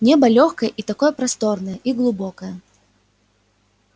небо лёгкое и такое просторное и глубокое